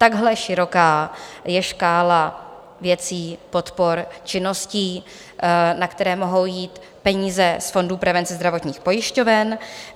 Takhle široká je škála věcí, podpor činností, na které mohou jít peníze z fondů prevence zdravotních pojišťoven.